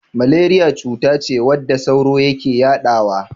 Maleriya cutace wadda sauro yake yadawa.